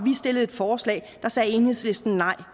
vi stillede et forslag sagde enhedslisten nej